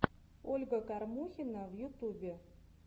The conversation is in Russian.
ольга кормухина в ютубе